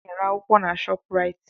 Ana-ere akwụkwọ na Shọpraịt.